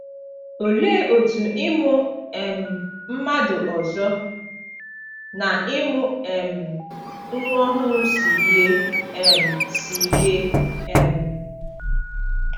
Olee otú ịmụ um mmadụ ọzọ na ịmụ um nwa ọhụrụ si yie um si yie um?